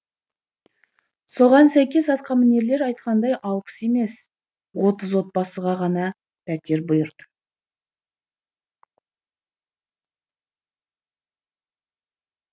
соған сәйкес атқамінерлер айтқандай алпыс емес отыз отбасыға ғана пәтер бұйырды